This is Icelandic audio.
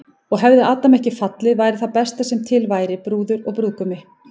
Og hefði Adam ekki fallið væri það besta sem til væri, brúður og brúðgumi.